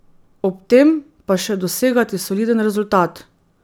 Ob tem pa še dosegati soliden rezultat.